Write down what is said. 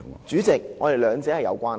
主席，兩者是有關係的。